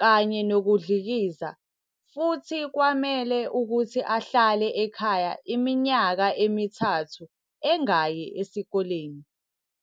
kanye nokudlikiza futhi kwamele ukuthi ahlale ekhaya iminyaka emithathu engayi esikoleni.